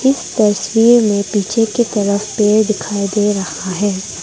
तस्वीर में पीछे की तरफ पेड़ दिखाई दे रहा है।